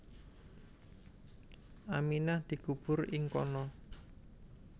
Aminah dikubur ing kana